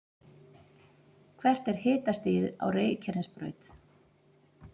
hvert er hitastigið á reykjanesbraut